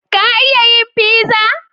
Ka iya yin pizza?